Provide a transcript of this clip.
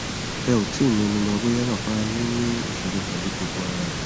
ẹ ò tí ì mẹnuba bóyá bàbá a yín ní ìsòro pẹlú gbogbo ara